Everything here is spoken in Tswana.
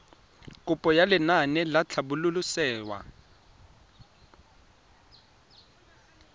kopo ya lenaane la tlhabololosewa